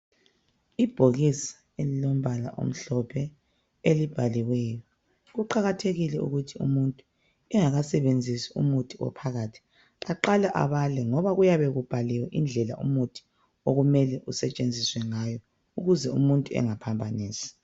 Ibhokisi elilombala omhlophe elibhaliweyo. Kuqakathekile ukuthi umuntu engakasebenzisi umuthi ophakathi, aqale abale ngoba kuyabe kubhaliwe indlela umuthi okumele usetshenziswe ngayo ukuze umuntu engaphambanisi.